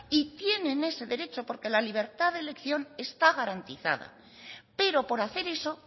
y tienen ese derecho porque la libertad de elección está garantizada pero por hacer eso